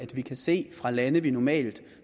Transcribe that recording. vi kan se at lande vi normalt